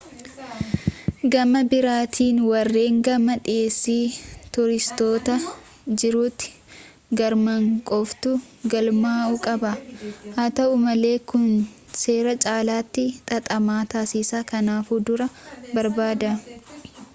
gama biraatiin warreen gama dhiheessi tuuristootaa jirutti argaman qofaatu galmaa'uu qaba haa ta'u malee kun seera caalaatti xaxamaa taasisa kanaafuu dura barbaadaa